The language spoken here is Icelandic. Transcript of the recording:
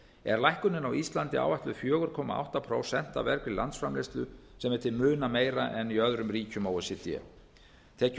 er lækkunin á íslandi áætluð fjóra komma átta prósent af vergri landsframleiðslu sem er til muna meira en í öðrum ríkjum o e c d tekjur